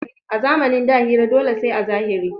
A zamanin da hira dole sai a zahiri